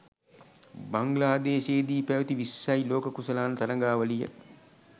බංග්ලාදේශයේදී පැවැති විස්සයි ලෝක කුසලාන තරගාවලිය